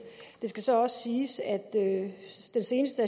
det skal så også siges at den seneste